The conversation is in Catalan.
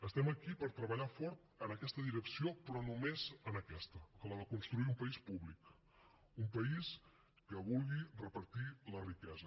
estem aquí per treballar fort en aquesta direcció però només en aquesta en la de construir un país públic un país que vulgui repartir la riquesa